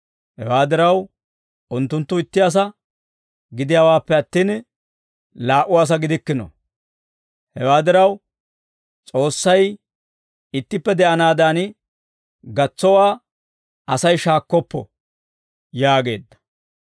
Hewaa diraw, unttunttu itti asaa gidiyaawaappe attin, laa"u asaa gidikkino; hewaa diraw, S'oossay ittippe de'anaadan gatsowaa Asay shaakkoppo» yaageedda.